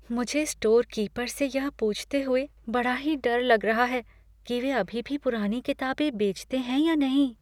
मुझे store keeper से यह पूछते हुए बड़ा ही डर लग रहा है कि वे अभी भी पुरानी किताबें बेचते हैं या नहीं।